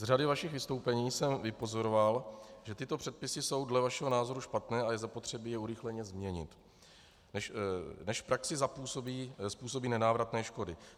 Z řady vašich vystoupení jsem vypozoroval, že tyto předpisy jsou dle vašeho názoru špatné a je zapotřebí je urychleně změnit, než v praxi způsobí nenávratné škody.